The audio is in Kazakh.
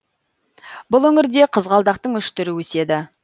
бұл өңірде қызғалдақтың үш түрі өседі